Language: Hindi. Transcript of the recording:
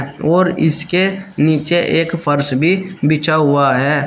और इसके नीचे एक फर्श भी बिछा हुआ है।